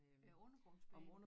Øh undergrundsbanen